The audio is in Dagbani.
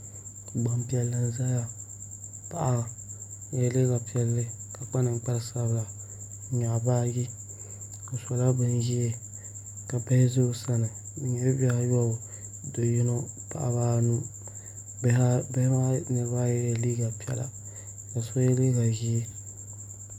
Gbanpiɛli n ʒɛya paɣa o yɛla liiga piɛlli ka kpa ninkpari sabila ka nyaɣa baaji o sila bin ʒiɛ ka bihi ʒɛ o sani bi nyɛla bihi ayobu do yino paɣaba anu bihi maa niraba ayi yɛla liiga piɛla ka so yɛ liiga ʒiɛ